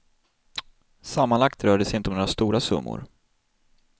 Sammanlagt rör det sig inte om några stora summor.